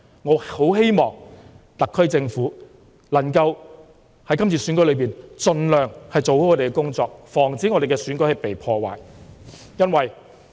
我十分希望特區政府能夠在今次選舉中，盡量做好其工作，防止選舉被破壞。